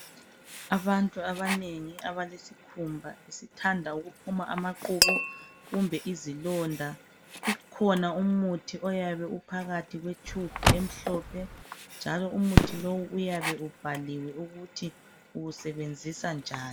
Abantu abanengi abalesikhumba esithanda ukuphuma amaqubu kumbe izilonda ikhona umuthi oyabe uphakathi kwetshubhu emhlophe njalo umuthi lowu uyabe ubhaliwe ukuthi uwusebenzisa njani.